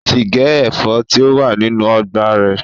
Ó ti gé ẹ̀fọ́ tí ó wà nínú ọgbà rẹ̀